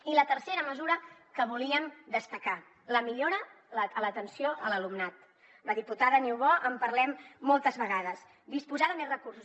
i la tercera mesura que volíem destacar la millora de l’atenció a l’alumnat amb la diputada niubó en parlem moltes vegades disposar de més recursos